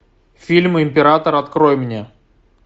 фильм император открой мне